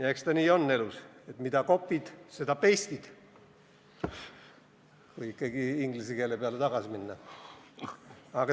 Ja eks ta elus nii ole, et mida copy'd, seda paste'id – kui ikka inglise keele peale tagasi minna.